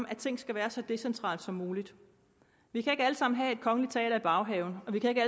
at ting skal være så decentrale som muligt vi kan ikke alle sammen have et kongeligt teater i baghaven og vi kan ikke